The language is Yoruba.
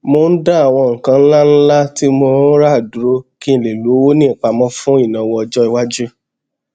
mò ń dá àwọn nǹkan ńláńlá tí mò ń rà dúró kí n lè lówó ní ìpámọ fún ìnáwọ ọjọiwájú